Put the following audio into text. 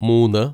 മൂന്ന്